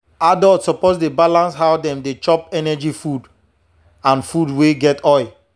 adults suppose to dey balance how dem dey chop energy food and food wey get oil.